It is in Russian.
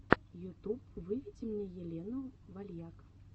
ютуб выведи мне елену вальяк